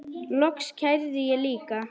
Loks kærði ég líka.